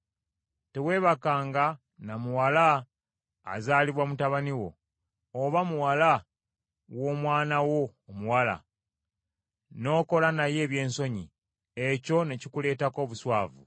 “ ‘Teweebakanga na muwala azaalibwa mutabani wo, oba muwala w’omwana wo omuwala, n’okola naye ebyensonyi; ekyo ne kikuleetako obuswavu.